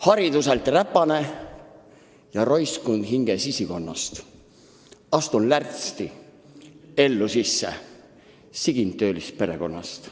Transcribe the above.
"Hariduselt räpane ja roiskund hinge sisikonnast, astun lärtsti ellu sisse, sigin töölisperekonnast.